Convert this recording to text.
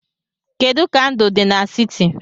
Kedu ka ndụ dị n'siti?